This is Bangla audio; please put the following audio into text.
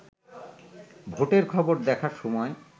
ভোটের খবর দেখার সময়